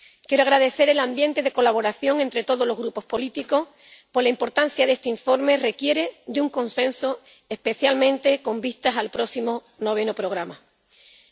Quiero agradecer el ambiente de colaboración entre todos los grupos políticos, porque la importancia de este informe requiere de un consenso, especialmente con vistas al próximo Noveno Programa Marco.